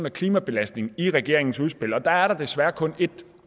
af klimabelastningen i regeringens udspil og der er der desværre kun ét